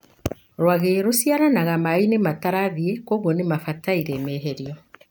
Rwagĩ rũciaranagĩra mainĩ matarathie, kogwuo nĩ mabatie maherio.